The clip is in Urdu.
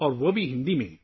اور وہ بھی ہندی میں